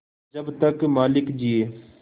जब तक मालिक जिये